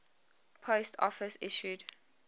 post office issued